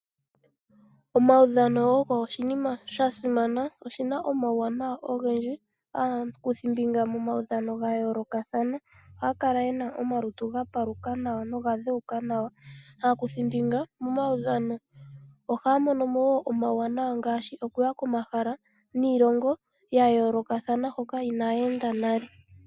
Omaudhano ogo oshinima sha simana, oshi na omauwanawa ogendji. Aakuthimbinga momaudhano ga yoolokathana ohaa kala ye na omalutu ga paluka nawa noga dhewuka nawa. Aakuthimbinga momaudhano ohaa mono mo wo omauwanawa ngaashi okuya komahala niilongo ya yoolokathana hoka inaaya enda nale.